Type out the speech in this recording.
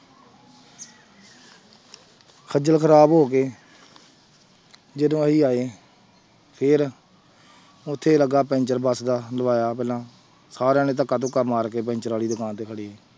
ਖੱਝਲ ਖ਼ਰਾਬ ਹੋ ਗਏ ਜਦੋਂ ਅਸੀਂ ਆਏ ਫਿਰ ਉੱਥੇ ਲੱਗਾ ਪੈਂਚਰ ਬਸ ਦਾ ਲਵਾਇਆ ਪਹਿਲਾਂ, ਸਾਰਿਆਂ ਨੇ ਧੱਕਾ ਧੁੱਕਾ ਮਾਰ ਕੇ ਪੈਂਚਰ ਵਾਲੀ ਦੁਕਾਨ ਤੇ ਕਰੀ।